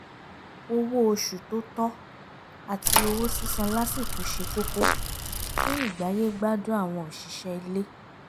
owó oṣù tó tọ́ àti owó sísan lásìkò ṣe kókó fún ìgbáyé-gbádùn àwọn òṣìṣẹ́ ilé